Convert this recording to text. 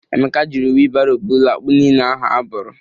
Ekeke jiri wilbaro bụla akpụ niile ahụ abụrụ.